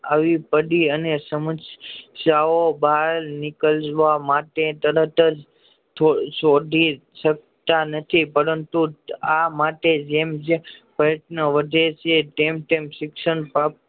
આવી પડી અને સમશ્યાઓ બાર નીકળવા માટે તરતજ છોડી શકતા નથી પરંતુ આ માટે જેમ જેમ પ્રયત્ન વધે છે તેમ તેમ શિક્ષણ કોર